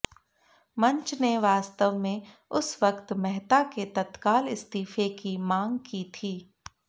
मंच ने वास्तव में उस वक्त मेहता के तत्काल इस्तीफे की मांग की थी